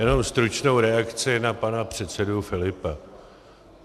Jenom stručnou reakci na pana předsedu Filipa.